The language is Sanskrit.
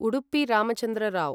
उडुपि रामचन्द्र राव्